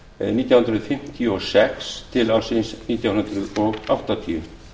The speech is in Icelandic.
nítján hundruð fimmtíu og sex til nítján hundruð áttatíu